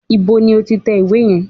Ibo ni o ti tẹ ìwé yẹn?